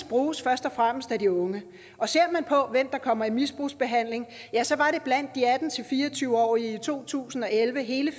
bruges først og fremmest af de unge og ser man på hvem der kommer i misbrugsbehandling ja så var det blandt de atten til fire og tyve årige i to tusind og elleve hele